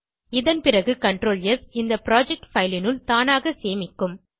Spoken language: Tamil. இதன்பிறகு CTRL ஸ் இந்த புரொஜெக்ட் பைல் னுள் தானாக சேமிக்கும்